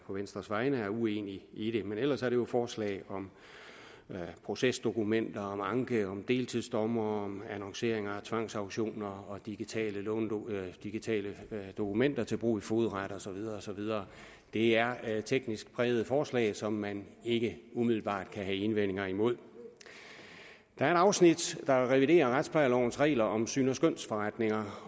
venstres vegne er uenig i det men ellers er det jo forslag om procesdokumenter anke deltidsdommere annoncering af tvangsauktioner og digitale digitale dokumenter til brug i fogedretter og så videre og så videre det er er et teknisk præget forslag som man ikke umiddelbart kan have indvendinger imod der er et afsnit der reviderer retsplejelovens regler om syns og skønsforretninger